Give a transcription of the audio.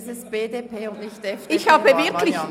Es ist die BDP- und nicht die FDP-Fraktion.